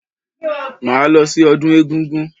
Máa lọ sí ọdún egúngún.